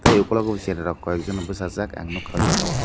tai ukulogo bo cherai rok koiakjona bwsajak ang nugkha aw jaaga o.